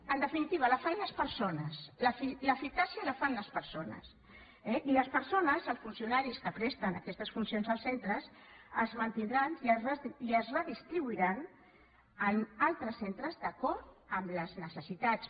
en definitiva l’eficàcia la fan les persones i les persones els funcionaris que presten aquestes funcions als centres es mantindran i es redistribuiran en altres centres d’acord amb les necessitats